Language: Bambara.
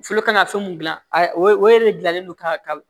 Folo kan ka fɛn mun gilan o yɛrɛ de gilannen don ka